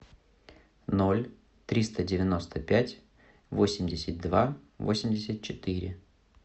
ноль триста девяносто пять восемьдесят два восемьдесят четыре